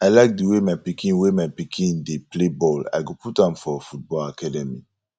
i like di way my pikin way my pikin dey play ball i go put am for football academy